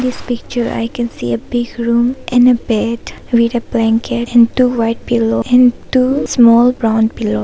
In this picture I can see a big room and a bed a white blanket and two white pillows and two small brown pillow.